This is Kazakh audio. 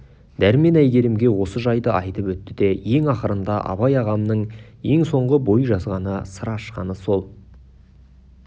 дәрмен әйгерімге осы жайды айтып өтті де ең ақырында абай ағамның ең соңғы бой жазғаны сыр ашқаны сол